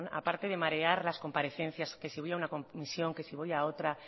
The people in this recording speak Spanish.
a parte de marear las comparecencias que si voy a una comisión que si voy a otra